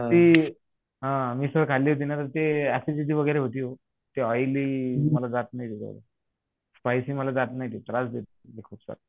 ती मिसळ खाली होती ना ते ऍसिडिटी वगैरे होती हो ते ऑईली मला जात नाही एवढ स्पाईसी मला जात नाही ते त्रास देत खूप